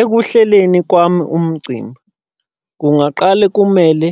Ekuhleleni kwami umcimbi, kungaqale kumele